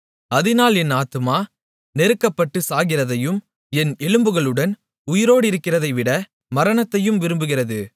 அதினால் என் ஆத்துமா நெருக்கப்பட்டு சாகிறதையும் என் எலும்புகளுடன் உயிரோடிருக்கிறதைவிட மரணத்தையும் விரும்புகிறது